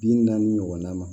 Bi naani ɲɔgɔn na ma